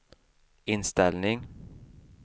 inställning